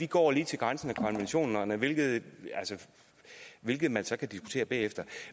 går lige til grænsen af konventionerne hvilket hvilket man så kan diskutere bagefter